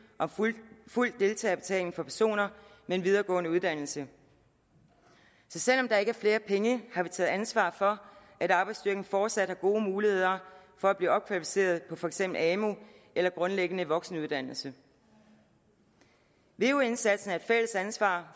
om fuld deltagerbetaling for personer med en videregående uddannelse så selv om der ikke er flere penge har vi taget ansvar for at arbejdsstyrken fortsat har gode muligheder for at blive opkvalificeret på for eksempel amu eller grundlæggende voksenuddannelse veu indsatsen er et fælles ansvar